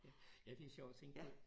Ja det er sjovt at tænke på